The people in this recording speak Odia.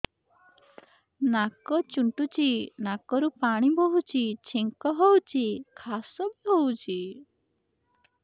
ନାକ ଚୁଣ୍ଟୁଚି ନାକରୁ ପାଣି ବହୁଛି ଛିଙ୍କ ହଉଚି ଖାସ ବି ହଉଚି